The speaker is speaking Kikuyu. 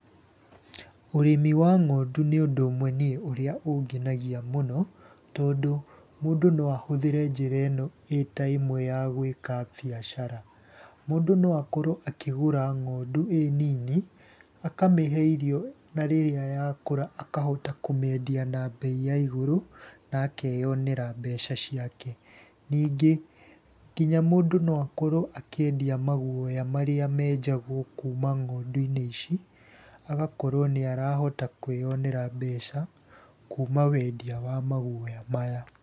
Ũrĩmi wa ng'ondu nĩ ũndũ ũmwe ũrĩa niĩ ũngenagia mũno, tondũ mũndũ no ahũthĩre njĩra ĩno ĩta ĩmwe ya gũĩka biacara. Mũndũ no akorwo akĩgũra ng'ondu ĩnini akamĩhe irio na rĩrĩa yakũra akahota kũmĩendia na mbei ya igũrũ, na akeyonera mbeca ciake. Ningĩ nginya mũndũ no akorwo akĩendia maguoya marĩa menjagwo kuma ng'ondu-inĩ ici, agakorwo nĩ arahota kwĩyonera mbeca kuma wendia wa maguoya maya.